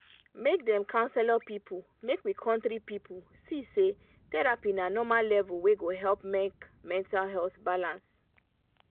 make dem counselor people make we country people see say therapy na normal level wey go help make mental health balance